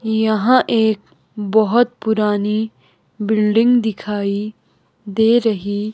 यहां एक बहुत पुरानी बिल्डिंग दिखाई दे रही--